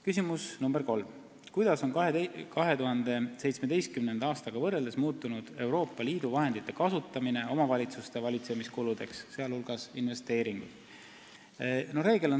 Küsimus nr 3: "Kuidas on 2017. aastaga võrreldes muutunud Euroopa Liidu vahendite kasutamine omavalitsuste valitsemiskuludes ?